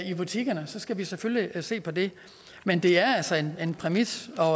i butikkerne så skal vi selvfølgelig se på det men det er altså en præmis og